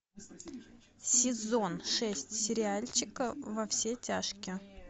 сезон шесть сериальчика во все тяжкие